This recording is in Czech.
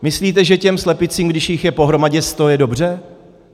Myslíte, že těm slepicím, když jich je pohromadě sto, je dobře?